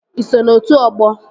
Ị so na otu ọgbọ?